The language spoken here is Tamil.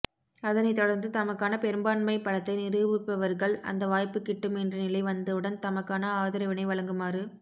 அதனைத் தொடர்ந்து தமக்கான பெரும்பான்மை பலத்தை நிரூபிப்பவர்கள் அந்த வாய்ப்பு கிட்டும் என்ற நிலை வந்தவுடன் தமக்கான ஆதரவினை வழங்குமாறு